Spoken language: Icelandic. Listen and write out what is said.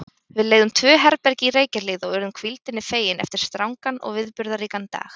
Við leigðum tvö herbergi í Reykjahlíð og urðum hvíldinni fegin eftir strangan og viðburðaríkan dag.